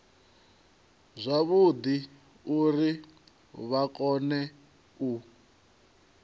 zwavhudi uri vha kone u